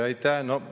Aitäh!